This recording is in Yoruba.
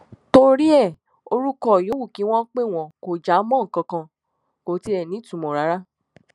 torí ẹ orúkọ yòówù kí wọn pè wọn kò já mọ nǹkan kan kò tiẹ nítumọ rárá